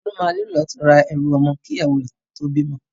Tolú máa nílò láti ra ẹrù ọmọ kí ìyàwó rẹ̀ tó bímọ.